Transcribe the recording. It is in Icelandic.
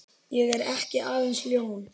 Ég er ekki aðeins ljón.